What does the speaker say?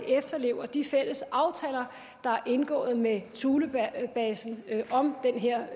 efterlever de fælles aftaler der er indgået med thulebasen om den her